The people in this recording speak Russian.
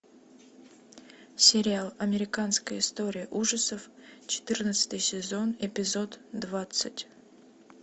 сериал американская история ужасов четырнадцатый сезон эпизод двадцать